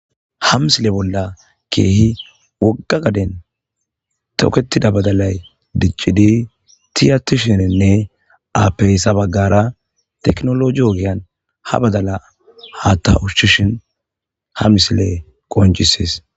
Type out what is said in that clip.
ha misile bolla keehi wogga gaden toketida badalay diccidi tiyatishininne aapeysa baggara teknologi ogyan ha badala ha ta ushishin ha misile qoncisees